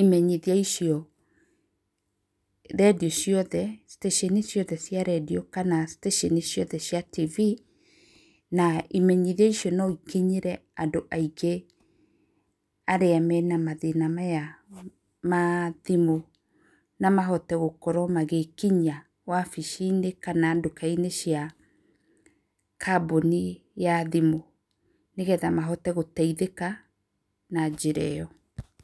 ĩmenyithia icio radio ciothe ceceni ciothe cia radio kana stacĩni ciothe cia TV na imenyithia icio no ikinyĩre andũ aingĩ arĩa mena mathĩna maya ma thimũ namahote gũkorwo magĩkinyia wabici-inĩ kana nduka-inĩ cia kambuni ya thimũ nĩgetha mahote gũteithĩka na njĩra ĩyo.